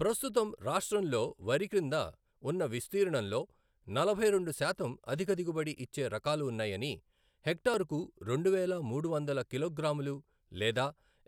ప్రస్తుతం రాష్ట్రంలో వరి క్రింద ఉన్న విస్తీర్ణంలో నలభై రెండు శాతం అధిక దిగుబడి ఇచ్చే రకాలు ఉన్నాయని, హెక్టరుకు రెండు వేల మూడు వందలు కిలోగ్రాములు లేదా